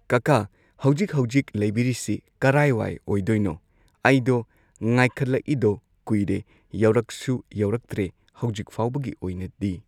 ꯀꯀꯥ ꯍꯧꯖꯤꯛ ꯍꯧꯖꯤꯛ ꯂꯩꯕꯤꯔꯤꯁꯤ ꯀꯔꯥꯏ ꯋꯥꯏ ꯑꯣꯏꯗꯣꯏꯅꯣ ꯑꯩꯗꯣ ꯉꯥꯏꯈꯠꯂꯛꯏꯗꯣ ꯀꯨꯏꯔꯦ ꯌꯧꯔꯛꯁꯨ ꯌꯧꯔꯛꯇ꯭ꯔꯦ ꯍꯧꯖꯤꯛ ꯐꯥꯎꯕꯒꯤ ꯑꯣꯏꯅꯗꯤ꯫